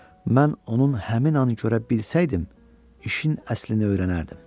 Mən onun həmin anı görə bilsəydim, işin əslini öyrənərdim.